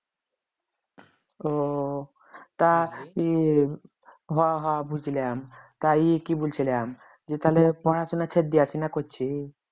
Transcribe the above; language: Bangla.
ও তা কি হ হ বুঝলাম তাই কি বলছিলাম যে তাহলে পড়াশোনা ছেড়ে দিয়েছিস না করছিস